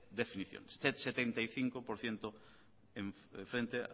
definición setenta y cinco por ciento frente